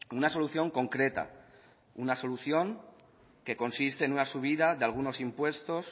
una solución concreta una solución que consiste en una subida de algunos impuestos